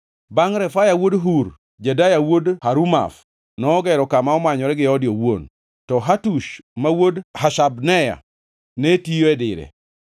Bangʼ Refaya wuod Hur, Jedaya wuod Harumaf nogero kama omanyore gi ode owuon, to Hatush wuod Hashabneya ne tiyo e dire.